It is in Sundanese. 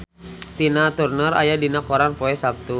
Tina Turner aya dina koran poe Saptu